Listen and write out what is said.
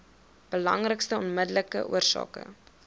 belangrikste onmiddellike oorsake